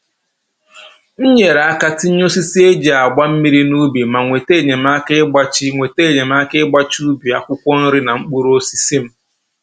M nyere aka tinye osisi e ji agba mmiri n'ubi ma nweta enyemaka ịgbachi nweta enyemaka ịgbachi ubi akwụkwọ nri na mkpụrụosisi m